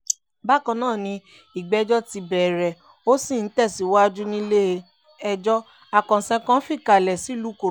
bákan náà ni ìgbẹ́jọ́ ti bẹ̀rẹ̀ ó sì ń tẹ̀síwájé nílé-ẹjọ́ àkànṣe kan tó fìkàlẹ̀ sílùú ìkòròdú